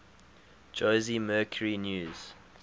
jose mercury news